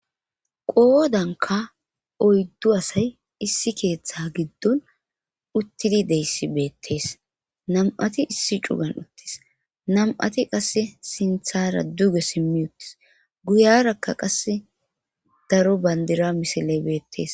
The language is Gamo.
qoodanka oyddu asay issi keeththa giddon uttidi deyssi beettees nam'ati issi cugan uttis nam'ati qasse sinthara duge simmi uttis guyarakka qasse daro bandira misiley beettees